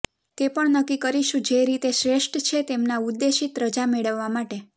તે પણ નક્કી કરીશું જે રીતે શ્રેષ્ઠ છે તેમના ઉદ્દેશિત રજા મેળવવા માટે